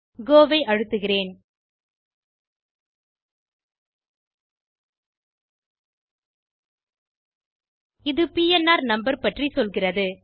கோ ஐ அழுத்துக இது பிஎன்ஆர் நம்பர் பற்றி சொல்கிறது